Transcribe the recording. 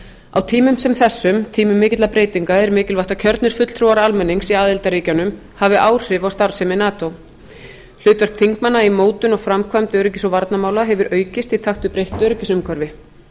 á tímum sem þessum tímum mikilla breytinga er mikilvægt að kjörnir fulltrúar almennings í aðildarríkjunum hafi áhrif á starfsemi nato hlutverk þingmanna í mótun og framkvæmd öryggis og varnarmála hefur aukist í takt við breytt öryggisumhverfi